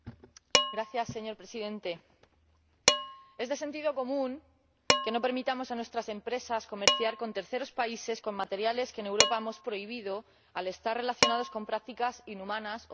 Señor Presidente, es de sentido común que no permitamos a nuestras empresas comerciar con terceros países con materiales que en Europa hemos prohibido al estar relacionados con prácticas inhumanas o de tortura.